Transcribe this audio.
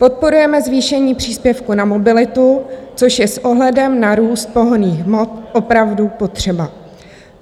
Podporujeme zvýšení příspěvku na mobilitu, což je s ohledem na růst pohonných hmot opravdu potřeba.